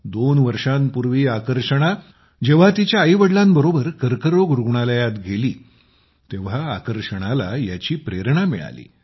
दोन वर्षांपूर्वी आकर्षणा जेव्हा तिच्या आई वडिलांबरोबर कर्करोग रुग्णालयात गेली तेव्हा आकर्षणाला याची प्रेरणा मिळाली